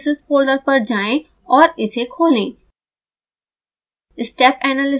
step analysis folder पर जाएँ और इसे खोलें